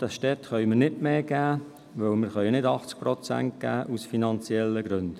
Den Städten können wir nicht mehr geben, weil wir aus finanziellen Gründen nicht 80 Prozent geben können.